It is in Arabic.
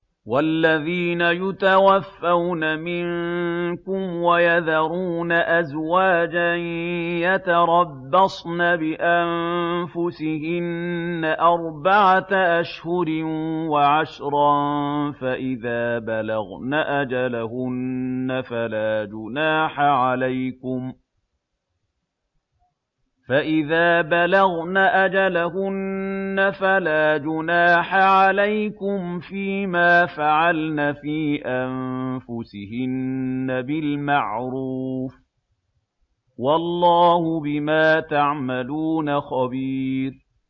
وَالَّذِينَ يُتَوَفَّوْنَ مِنكُمْ وَيَذَرُونَ أَزْوَاجًا يَتَرَبَّصْنَ بِأَنفُسِهِنَّ أَرْبَعَةَ أَشْهُرٍ وَعَشْرًا ۖ فَإِذَا بَلَغْنَ أَجَلَهُنَّ فَلَا جُنَاحَ عَلَيْكُمْ فِيمَا فَعَلْنَ فِي أَنفُسِهِنَّ بِالْمَعْرُوفِ ۗ وَاللَّهُ بِمَا تَعْمَلُونَ خَبِيرٌ